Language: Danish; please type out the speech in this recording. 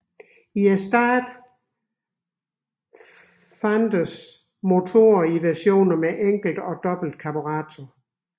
I starten fandtes motoren i versioner med enkelt og dobbelt karburator